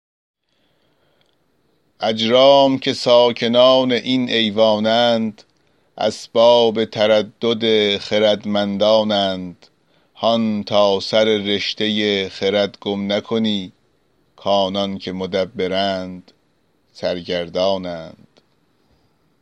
اجرام که ساکنان این ایوان اند اسباب تردد خردمندان اند هان تا سر رشته خرد گم نکنی کآنان که مدبرند سرگردان اند